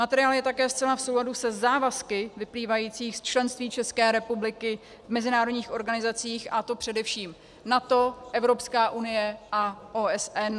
Materiál je také zcela v souladu se závazky vyplývajících z členství České republiky v mezinárodních organizacích, a to především: NATO, Evropská unie a OSN.